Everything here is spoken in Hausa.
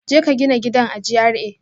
Jeka gina gidan a GRA